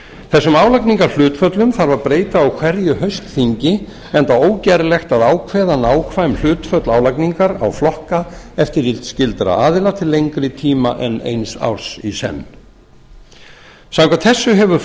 þessum álagningarhlutföllum þarf að breyta á hverju haustþingi enda ógerlegt að ákveða nákvæm hlutföll álagningar á flokka eftirlitsskyldra aðila til lengri tíma en eins árs í senn samkvæmt þessu hefur